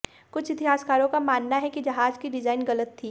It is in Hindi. कुछ इतिहासकारों का मानना है कि जहाज की डिजाइन गलत थी